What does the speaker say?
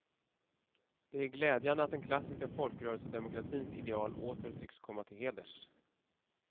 Det är glädjande att den klassiska folkrörelsedemokratins ideal åter tycks komma till heders.